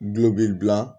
Gulɔ b'i bila